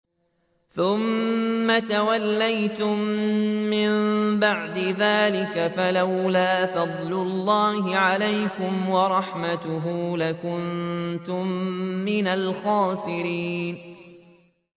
ثُمَّ تَوَلَّيْتُم مِّن بَعْدِ ذَٰلِكَ ۖ فَلَوْلَا فَضْلُ اللَّهِ عَلَيْكُمْ وَرَحْمَتُهُ لَكُنتُم مِّنَ الْخَاسِرِينَ